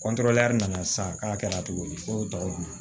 kɔntorɔ nana san k'a kɛ na cogo di ko